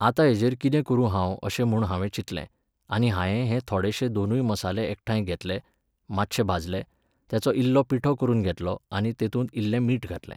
आतां हेजेर कितें करूं हांव अशें म्हूण हांवें चिंतले, आनी हायें हे थोडेशे दोनूय मसाले एकठांय घेतले, मात्शे भाजले, तेचो इल्लो पिठो करून घेतलो आनी तेतूंत इल्लें मीठ घातलें.